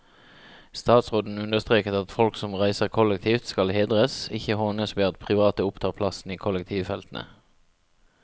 Statsråden understreket at folk som reiser kollektivt skal hedres, ikke hånes ved at private opptar plassen i kollektivfeltene.